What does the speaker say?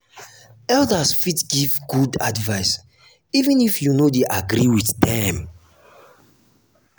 elders fit give good advice even if you no dey agree with dem.